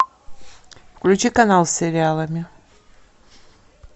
включи канал с сериалами